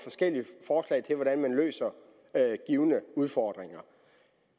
jeg til hvordan man løser givne udfordringer